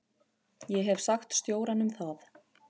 Ég hef sagt stjóranum það.